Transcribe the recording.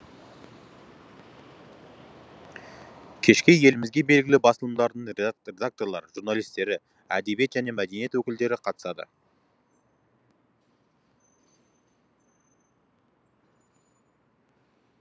кешке елімізге белгілі басылымдардың редакторлары журналистері әдебиет және мәдениет өкілдері қатысады